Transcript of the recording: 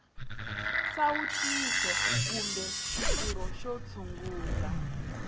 nsawutiso kumbe xitirho xo tshungula